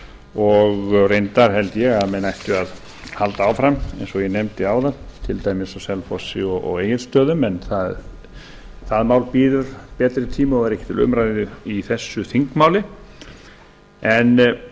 og reyndar held ég að menn ættu að halda áfram eins og ég nefndi áðan til dæmis á selfossi og egilsstöðum en það mál bíður betri tíma og er ekki til umræðu í þessu þingmáli en